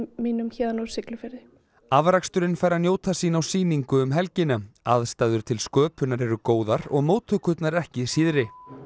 mínum héðan úr Siglufirði afraksturinn fær að njóta sín á sýningu um helgina aðstæður til sköpunar eru góðar og móttökurnar ekki síðri